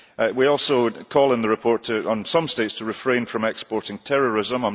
We also call, in the report, on some states to refrain from exporting terrorism.